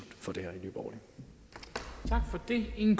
over for det i